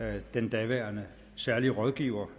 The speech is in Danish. at den daværende særlige rådgiver